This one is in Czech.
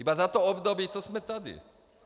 Jen za to období, co jsme tady.